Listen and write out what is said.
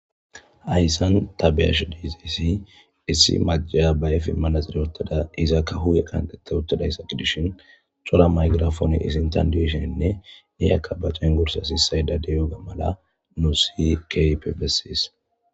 ayssan tabiyash diizisi issi macasiya bayefen manaxxire wothada izakka huye kantetta uttadayssa gidishin cora maygirafoni isinthan diesheninne iyakka bacengursa sissayda deyoga mala nuussi keehippe bessees